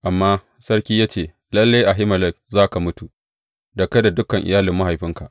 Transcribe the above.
Amma sarki ya ce, Lalle Ahimelek za ka mutu, da kai da dukan iyalin mahaifinka.